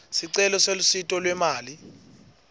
sicelo selusito lwemali